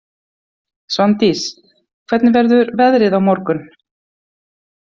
Svandís, hvernig verður veðrið á morgun?